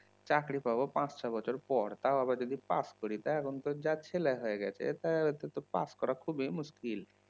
চাকরি পাব পাঁচ সাত বছর পর তাও আবার যদি পাস করি তা এখন তো যা ছেলে হয়ে গেছে তা ওইটা তো পাস করা খুবই মুশকিল